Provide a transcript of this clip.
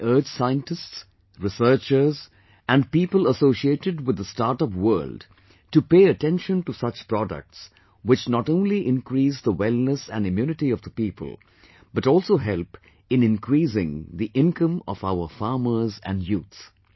I urge scientists, researchers and people associated with the startup world to pay attention to such products, which not only increase the wellness and immunity of the people, but also help in increasing the income of our farmers and youth